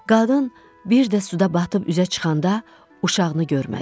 Qadın bir də suda batıb üzə çıxanda uşağını görmədim.